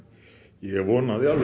ég vonaði alveg